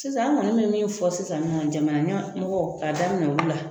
Sisan an kɔni bɛ fɔ sisan ɲɔgɔn nɔ jamana ɲɛmɔgɔ k'a daminɛ olu la